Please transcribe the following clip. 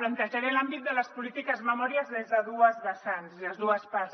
plantejaré l’àmbit de les polítiques de memòria des de dues vessants des de dues parts